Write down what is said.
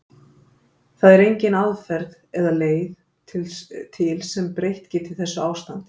Það er engin aðferð eða leið til sem breytt geti þessu ástandi.